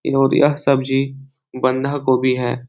यह सब्जी बंधा गोभी है ।